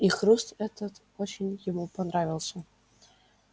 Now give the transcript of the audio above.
и хруст этот очень ему понравился